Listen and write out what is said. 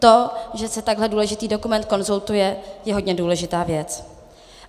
To, že se takhle důležitý dokument konzultuje, je hodně důležitá věc.